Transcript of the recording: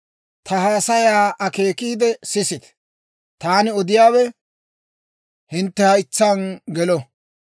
Ta haasayaa akeekiide sisite; taani odiyaawe hintte haytsaan gelo.